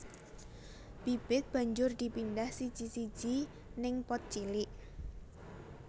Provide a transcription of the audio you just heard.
Bibit banjur dipindah siji siji ning pot cilik